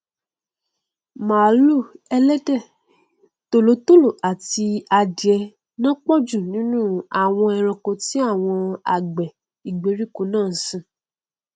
màlúù ẹlẹdẹ tòlótòló àti adìẹ nọn pọjù nínú àwọn ẹranko tí àwọn àgbẹ ìgbèríko náà nsìn